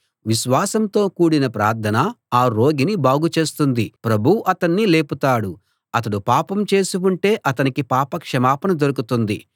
విశ్వాసంతో కూడిన ప్రార్థన ఆ రోగిని బాగు చేస్తుంది ప్రభువు అతణ్ణి లేపుతాడు అతడు పాపం చేసి ఉంటే అతనికి పాపక్షమాపణ దొరుకుతుంది